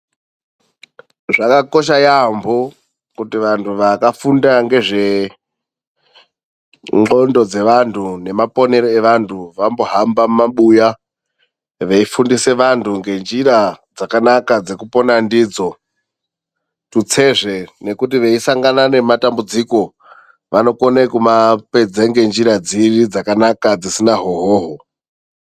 Zvakakosha yaamho kuti vanthu vakafunda ngezve ntlondo dzevantu nemaponero evanhu vambohamba mumabuya veifundisa vantu ngenjira dzakanaka dzekupona ndidzo. Tutsezve nekuti veisangana nematambudziko vanokone kumapedza ngenjira dziri dzakanaka dzisina hwohwohwo.